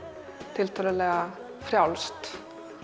tiltölulega frjálst